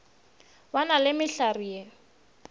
ba na le mehlare ye